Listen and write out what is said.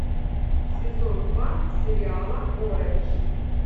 сезон два сериала оранж